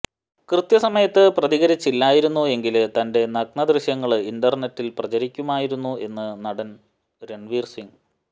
കൃത്യസമയത്ത് പ്രതികരിച്ചില്ലായിരുന്നു എങ്കില് തന്റെ നഗ്ന ദൃശ്യങ്ങള് ഇന്റര്നെറ്റില് പ്രചരിക്കുമായിരുന്നു എന്ന് നടന് രണ്വീര് സിംഗ്